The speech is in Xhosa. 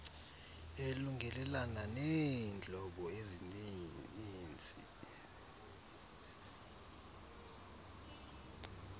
elungelelana neentlobo ezinininzi